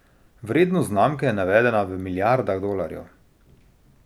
Vrednost znamke je navedena v milijardah dolarjev.